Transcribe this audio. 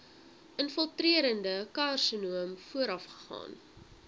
infiltrerende karsinoom voorafgaan